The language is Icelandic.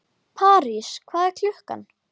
París, hvað er klukkan?